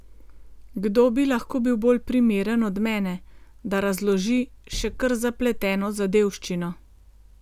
Kdo bi lahko bil bolj primeren od mene, da razloži še kar zapleteno zadevščino.